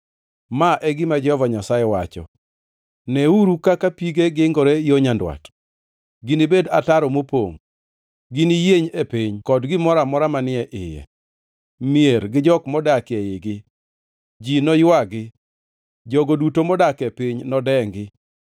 Ma e gima Jehova Nyasaye wacho: “Neuru kaka pige gingore e yo nyandwat; ginibed ataro mopongʼ. Giniyieny e piny kod gimoro amora manie iye, mier gi jok modak eigi. Ji noywagi; jogo duto modak e piny nodengi.